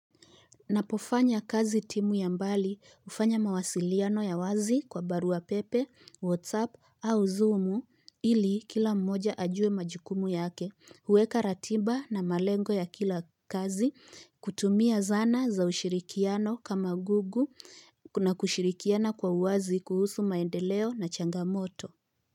Napofanya kazi timu ya mbali ufanya mawasiliano ya wazi kwa baruwa pepe, whatsapp au zoomu ili kila mmoja ajue majukumu yake, uweka ratiba na malengo ya kila kazi kutumia zana za ushirikiano kama gugu na kushirikiana kwa wazi kuhusu maendeleo na changamoto.